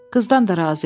Qızdan da razıyam.